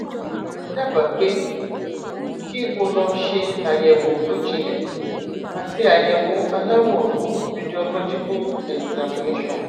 màá dábàá pé kí o lọ ṣe àyẹwò tó jinlẹ àti àyẹwò aláwòrán radiological examination